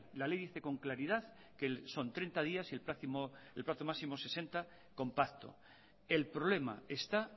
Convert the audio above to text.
ley la ley dice con claridad que son treinta días y el plazo máximo sesenta con pacto el problema está